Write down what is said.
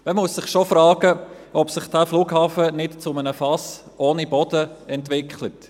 Man muss sich schon fragen, ob sich der Flughafen nicht zu einem Fass ohne Boden entwickelt.